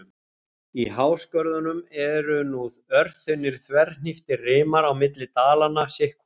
Í háskörðunum eru nú örþunnir, þverhníptir rimar á milli dalanna sitt hvorum megin.